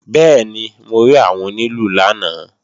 Bẹ́ẹ̀ni, mo rí àwọn onílù lánàá